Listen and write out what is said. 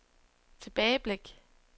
tilbageblik